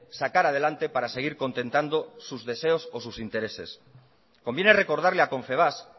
sacar adelante para seguir contentando sus deseos o sus intereses conviene recordarle a confebask